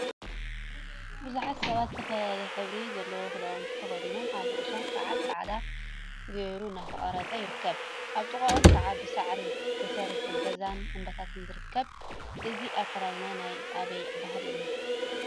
ቡዙሓት ሰባት ዝተፈላለዩ ሕብሪ ዘለዎም ክዳውንቲ ተከዲኖም አብ ርእሶም ከዓ ፃዕዳ ገይሮ እናተቀረፁ ይርከቡ፡፡ አብ ጥቅኦም ከዓ ብሳዕሪ ተሰርሐ ገዛን እምባታትን ይርከቡ፡፡ እዚ አከዳድና ናይ አበይ ባህሊ እዩ?